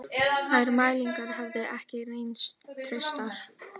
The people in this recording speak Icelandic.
Þær mælingar hefðu ekki reynst traustar